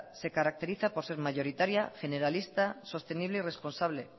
se caracteriza por ser mayoritaria generalista sostenible y responsable